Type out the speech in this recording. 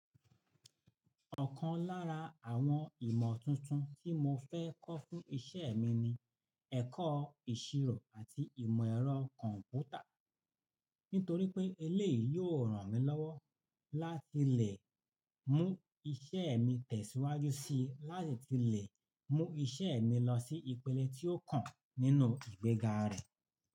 Ọ̀kan lára àwọn ìmọ̀ tuntun tí mo fẹ́ kọ́ fún iṣẹ́ mi ni ẹ̀kọ́ ìṣirò àti ìmọ̀ ẹ̀rọ kọ̀m̀pútà. Nítorí pé eléèyì yóò ràn mí lọ́wọ́ láti lè mú iṣẹ́ mi tẹ̀síwájú síi láti lè mú iṣẹ́ mi lọ sí ìpele tí ó kàn nínú ìgbéga rẹ̀.